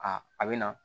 A a bɛ na